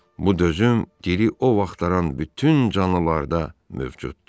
Bu döyüşüm diri o vaxtdaran bütün canlılarda mövcuddur.